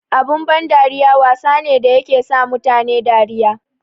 Abun ban dariya wasa ne da yake sa mutane dariya.